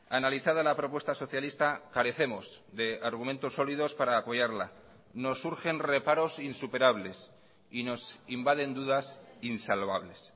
analizada la propuesta socialista carecemos de argumentos sólidos para apoyarla nos urgen reparos insuperables y nos invaden dudas insalvables